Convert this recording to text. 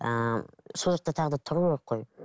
ыыы сол жақта тағы да тұру керек қой